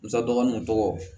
N sa dɔgɔnunw tɔgɔ